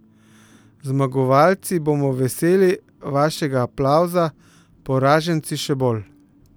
Zmagovalci bomo veseli vašega aplavza, poraženci še bolj.